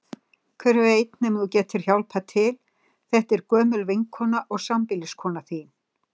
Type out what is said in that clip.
Hver veit nema þú getir hjálpað til, þetta er gömul vinkona og sambýliskona þín.